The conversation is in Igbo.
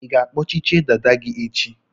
Ị ga-akpọchichie dada gị echi?